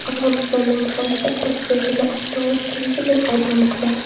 Afg‘onistonda muxolifat prezidentni avtoritarizmda ayblamoqda.